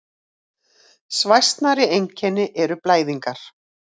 Svæsnari einkenni eru blæðingar.